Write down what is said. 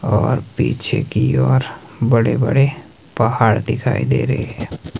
और पीछे की ओर बड़े बड़े पहाड़ दिखाई दे रहे है।